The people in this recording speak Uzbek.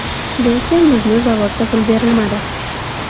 Lekin bizni zavodda pul berilmadi.